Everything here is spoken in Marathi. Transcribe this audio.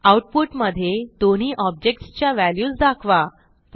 आऊटपुट मधे दोन्ही ऑब्जेक्ट्स च्या व्हॅल्यूज दाखवा